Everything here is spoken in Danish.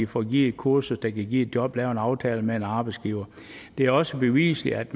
får givet et kursus der kan give et job får lavet en aftale med en arbejdsgiver det er også beviseligt at